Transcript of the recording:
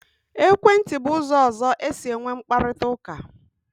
Ekwentị bụ ụzọ ọzọ e si enwe mkparịkọtaụka.